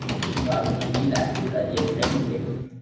Var hún að bíða eftir að ég kæmi til hennar?